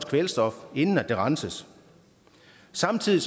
kvælstof inden det renses samtidig